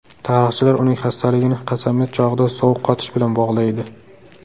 Tarixchilar uning xastaligini qasamyod chog‘ida sovuq qotish bilan bog‘laydi.